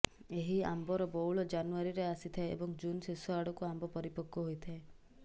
ଏହି ଆମ୍ବର ବଉଳ ଜାନୁଆରିରେ ଆସିଥାଏ ଏବଂ ଜୁନ୍ ଶେଷ ଆଡ଼କୁ ଆମ୍ବ ପରିପକ୍ବ ହୋଇଥାଏ